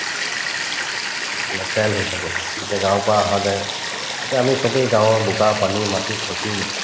বা child হৈ থাকে যেতিয়া গাঁৱৰ পৰা আহা যায় যেতিয়া আমি চবে গাঁৱৰ বোকা-পানী মাটি খচিম